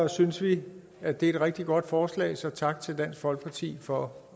synes vi at det er et rigtig godt forslag så tak til dansk folkeparti for